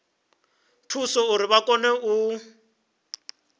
thusa uri vha kone u